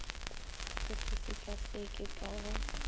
o se sekaseke ka go